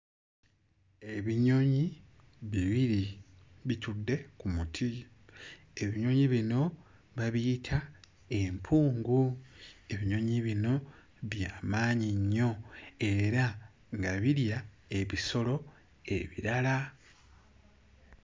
Ebinyonyi bibiri bitudde ku muti, ebinyonyi bino babiyita empungu, ebinyonyi bino by'amaanyi nnyo era nga birya ebisolo ebirala.